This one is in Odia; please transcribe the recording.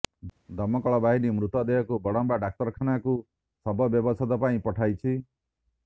ଦମକଳବାହିନୀ ମୃତଦେହକୁ ବଡମ୍ବା ଡାକ୍ତରଖାନାକୁ ଶବ ବ୍ୟବଚ୍ଛେଦ ପାଇଁ ପଠାଇଛି